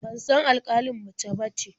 Ban san alƙalin mace bace.